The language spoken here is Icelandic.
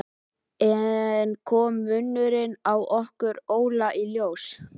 Enn kom munurinn á okkur Óla í ljós.